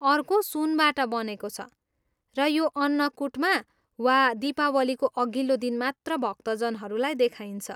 अर्को सुनबाट बनेको छ र यो अन्नकुटमा वा दीपावलीको अघिल्लो दिन मात्र भक्तजनहरूलाई देखाइन्छ।